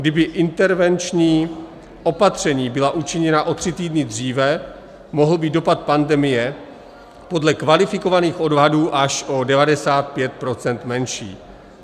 Kdyby intervenční opatření byla učiněna o tři týdny dříve, mohl být dopad pandemie podle kvalifikovaných odhadů až o 95 % menší.